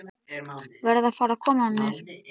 Verð að fara að koma mér.